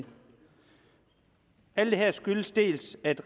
alt det her skyldes dels at